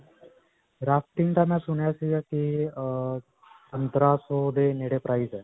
Rafting ਦਾ ਮੈਂ ਸੁਣਿਆ ਸਿਗਾ ਕਿ ਅਅ ਪੰਦਰਾਂ ਸੌ ਦੇ ਨੇੜੇ price ਹੈ.